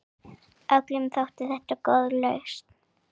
Öllum þótti þetta góð lausn.